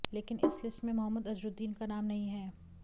लेकिन इस लिस्ट में मोहम्मद अजहरुद्दीन का नाम नहीं है